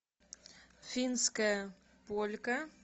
финская полька